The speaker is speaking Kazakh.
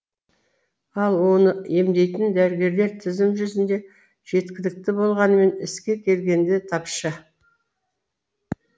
ал оны емдейтін дәрігерлер тізім жүзінде жеткілікті болғанымен іске келгенде тапшы